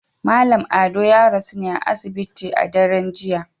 Mallam Ado ya rasu ne a asibiti a daren jiya